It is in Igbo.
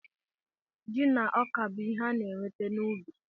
Ji na ọka bụ ihe a na-enweta n'ubi.